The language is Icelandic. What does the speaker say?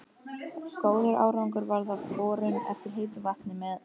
Góður árangur varð af borun eftir heitu vatni með